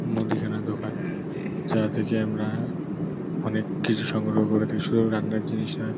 মুদিখানার দোকান যার থেকে আমরা অনেক কিছু সংগ্রহ করে থাকি। সব রান্নার জিনিস হয়।